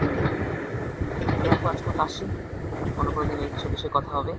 তাহলে আপু আজকের মত আসি। অন্য কোনদিন এসব বিষয়ে কথা হবে।